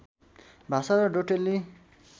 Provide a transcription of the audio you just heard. भाषा र डोटेली